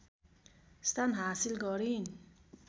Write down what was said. स्थान हासिल गरिन्